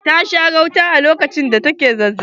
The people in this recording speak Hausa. Ta sha gauta lokacin da ta ke zazzabi.